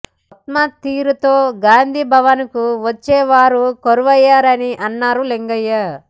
ఉత్తమ్ తీరుతో గాంధీ భవన్కు వచ్చే వారే కరువయ్యారని అన్నారు లింగయ్య